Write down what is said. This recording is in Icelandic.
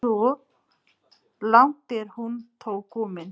Svo langt er hún þó komin.